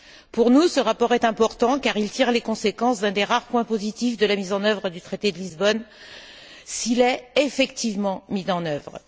Pour nous, ce rapport est important car il tire les conséquences d'un des rares points positifs de la mise en œuvre du traité de Lisbonne, s'il est effectivement mis en œuvre.